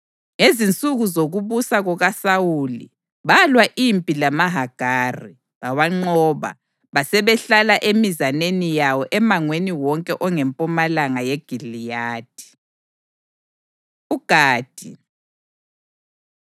Ngezinsuku zokubusa kukaSawuli balwa impi lamaHagari; bawanqoba basebehlala emizaneni yawo emangweni wonke ongempumalanga yeGiliyadi. UGadi